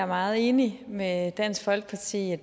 meget enig med dansk folkeparti i at